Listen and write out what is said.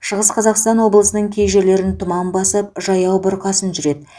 шығыс қазақстан облысының кей жерлерін тұман басып жаяу бұрқасын жүреді